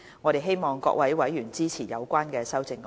我希望各位委員支持相關修正案。